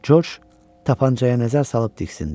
George tapançaya nəzər salıb diksindi.